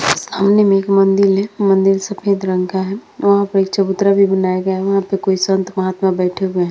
सामने में एक मंदिल है। मंदिल सफ़ेद रंग का है। वहाँ पर एक चबूतरा भी बनाया गया है। वहाँ पे कोई संत-महात्मा बैठे हुए हैं।